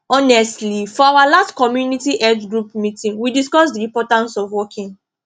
honestly for our last community health group meeting we discuss the importance of walking